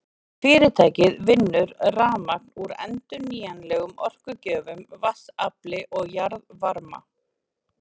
Fyrirtækið vinnur rafmagn úr endurnýjanlegum orkugjöfum, vatnsafli og jarðvarma.